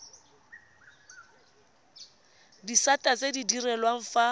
disata tse di direlwang fa